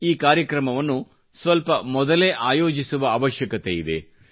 ಈ ಕಾರ್ಯಕ್ರಮವನ್ನು ಸ್ವಲ್ಪ ಮೊದಲೇ ಆಯೋಜಿಸುವ ಅವಶ್ಯಕತೆಯಿದೆ